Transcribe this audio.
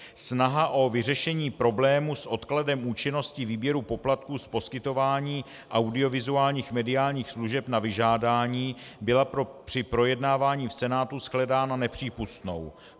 Snaha o vyřešení problému s odkladem účinnosti výběru poplatků z poskytování audiovizuálních mediálních služeb na vyžádání byla při projednávání v Senátu shledána nepřípustnou.